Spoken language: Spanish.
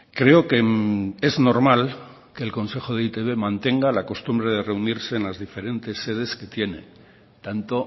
creo que es normal que el consejo de e i te be mantenga la costumbre de reunirse en las diferentes sedes que tiene tanto